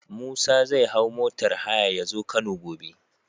Musa zai hau motar haya yazo kano gobe